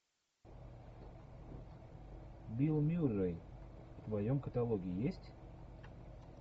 билл мюррей в твоем каталоге есть